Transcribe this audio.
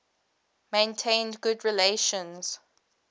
maintained good relations